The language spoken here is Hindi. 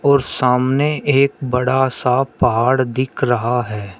और सामने एक बड़ा सा पहाड़ दिख रहा है।